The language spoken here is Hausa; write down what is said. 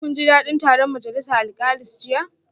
Shin kun ji dadin taron majalisa alkalis jiya?